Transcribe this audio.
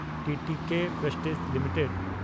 TTK Prestige limited